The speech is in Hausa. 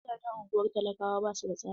Gidajen ungwar talakawa basu da tsari.